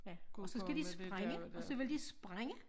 Ja og så skal de sprænge og så vil de sprænge